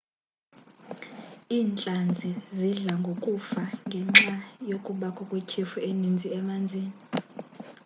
iintlanzi zidla ngokufa ngenxa yokubakho kwetyhefu eninzi emanzini